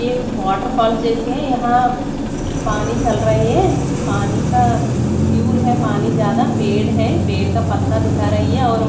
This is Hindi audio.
एक वॉटर फाल्स जैसी है यहाँ पानी चल रही है पानी का प्यूर है पानी ज्यादा पेड़ है पेड का पत्ता दिखा रही है और ओ--